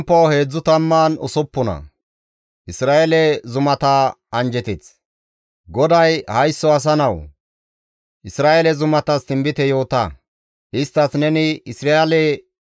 GODAY, «Haysso asa nawu! Isra7eele zumatas tinbite yoota; isttas neni, ‹Isra7eele zumatoo! GODAA qaala siyite!